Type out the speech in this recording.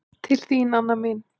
Til þín, Anna mín.